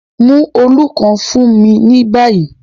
Mu òòlù kan fun mi ni bayi